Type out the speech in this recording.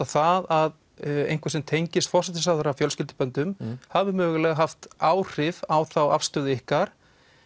það að einhver sem tengist forsætisráðherranum fjölskylduböndum hafi mögulega haft áhrif á þá afstöðu ykkar